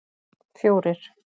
fjórir